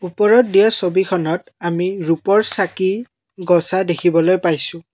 ওপৰত দিয়া ছবিখনত ৰূপৰ চাকি গছা দেখিবলৈ পাইছোঁ।